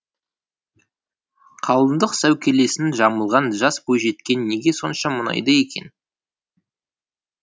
қалыңдық сәукелесін жамылған жас бойжеткен неге сонша мұңайды екен